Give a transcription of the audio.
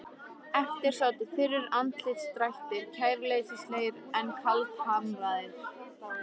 Eftir sátu þurrir andlitsdrættir, kæruleysislegir en kaldhamraðir.